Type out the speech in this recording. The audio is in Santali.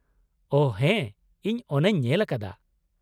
ᱳᱦᱚ ᱦᱮᱸ ᱤᱧ ᱚᱱᱟᱹᱧ ᱧᱮᱞ ᱟᱠᱟᱫᱟ ᱾